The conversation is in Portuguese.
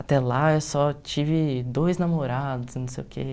Até lá eu só tive dois namorados, não sei o quê.